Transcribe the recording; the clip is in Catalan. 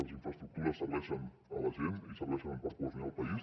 les infraestructures serveixen a la gent i serveixen per cohesionar el país